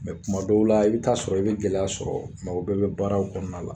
kuma dɔw la i bɛ taa sɔrɔ i bɛ gɛlɛya sɔrɔ o bɛɛ bɛ baaraw kɔnɔna la